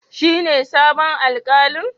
Shine sabon Alkalin?